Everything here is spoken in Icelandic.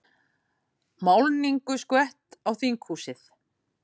Málningu skvett á þinghúsið